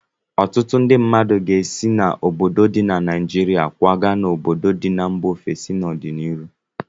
Ọtụtụ ndị mmadụ ga-esi n'obodo ndị dị na Naịjirịa kwaga n'obodo ndị dị na mba ofesi n'ọdịnihu.